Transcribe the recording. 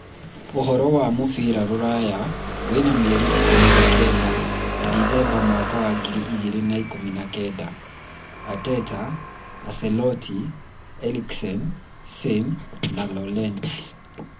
Ũhoro wa mũbira rũraya wena mweri ikũmi na kenda Dithemba Mwaka wa ngiri igĩrĩ na ikũmi na kenda: Arteta, Ancelotti, Eriksen, Sane, Llorente